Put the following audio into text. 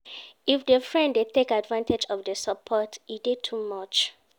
If di friend de take advantage of di support e de too much